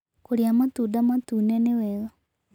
Kũrĩa matũnda matũne nĩwega